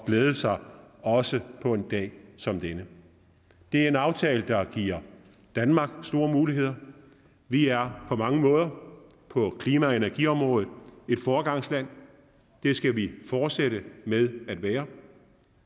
glæde sig også på en dag som denne det er en aftale der giver danmark store muligheder vi er på mange måder på klima og energiområdet et foregangsland det skal vi fortsætte med at være